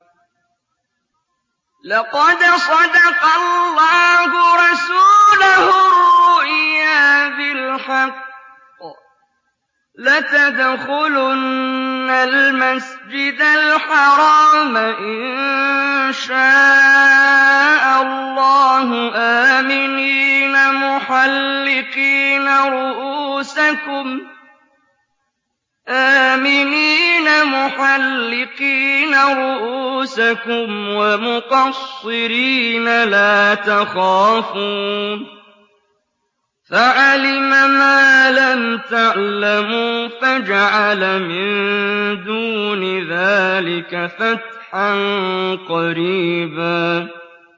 لَّقَدْ صَدَقَ اللَّهُ رَسُولَهُ الرُّؤْيَا بِالْحَقِّ ۖ لَتَدْخُلُنَّ الْمَسْجِدَ الْحَرَامَ إِن شَاءَ اللَّهُ آمِنِينَ مُحَلِّقِينَ رُءُوسَكُمْ وَمُقَصِّرِينَ لَا تَخَافُونَ ۖ فَعَلِمَ مَا لَمْ تَعْلَمُوا فَجَعَلَ مِن دُونِ ذَٰلِكَ فَتْحًا قَرِيبًا